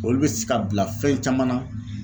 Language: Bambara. olu bɛ se ka bila fɛn caman na